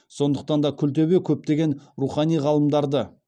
сондықтан да күлтөбе көптеген рухани ғалымдарды